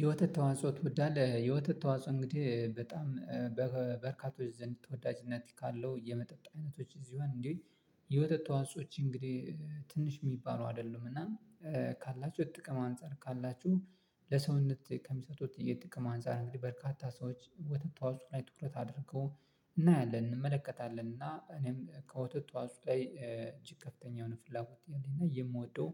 የወተት ተዋጽኦ ትወዳለህ? የወተት ተዋጽኦ እንግዲህ በጣም በበርካቶች ዘንድ ተወዳጅነት ካለው የመጠጥ አይነቶች እዚህ ሆን እንዴ። የወተት ተዋጾች እንግዲህ ትንሽ የሚባሉ አይደሉም እና ካላችሁ ጥቅም አንፃር ካላችሁ ለሰውነት ከሚሰጡት የጥቅም አንፃር እንግዲህ በርካታ ሰዎች ወተት ተዋህፁ ላይ ትኩረት አድርገው እናያለን እንመለከታለን። እና እኔም ከወተት ተዋጽኦ ጋር እጅግ ከፍተኛ የሆነ ፍላጎት እንዴት ነው የምወደው።